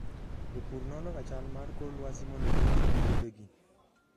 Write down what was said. Jopur nonoga chal mar kor lwasi mondo girit puothegi.